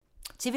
TV 2